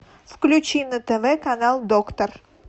включи на тв канал доктор